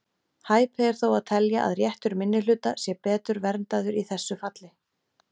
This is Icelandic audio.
Hæpið er þó að telja að réttur minnihluta sé betur verndaður í þessu falli.